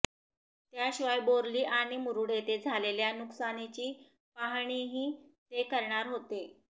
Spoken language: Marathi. त्याशिवाय बोर्ली आणि मुरुड येथे झालेल्या नुकसानीची पाहणीही ते करणार होते